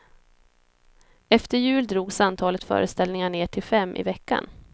Efter jul drogs antalet föreställningar ner till fem i veckan.